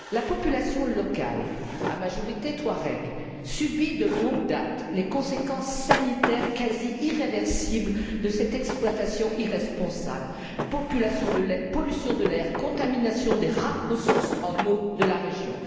La population locale à majorité touareg, subit de longue date les conséquences sanitaires quasi irréversibles de cette exploitation irresponsable pollution de l'air et contamination des rares ressources en eau de la région.